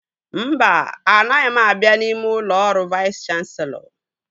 Mba, anaghị m abịa n'ime ụlọ ọrụ Vais Kanselọ